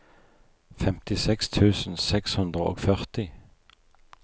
femtiseks tusen seks hundre og førti